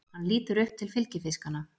Hann lítur upp til fylgifiskanna.